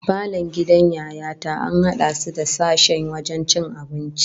Falon gidan Yaya ta an hada shi da sashen wajen cin abinci